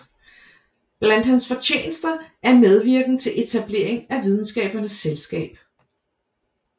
Blandt hans fortjenester er medvirken til etableringen af Videnskabernes Selskab